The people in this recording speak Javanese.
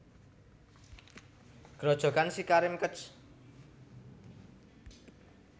Grojogan SiKarim Kec